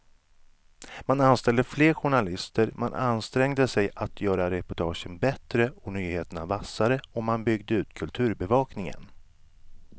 Man anställde fler journalister, man ansträngde sig att göra reportagen bättre och nyheterna vassare och man byggde ut kulturbevakningen.